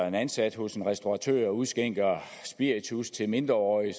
en ansat hos en restauratør udskænker spiritus til mindreårige